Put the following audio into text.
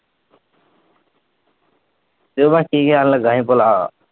ਕ ਕੀ ਕਹਿਣ ਲੱਗਾ ਸੀ ਭੱਲਾ?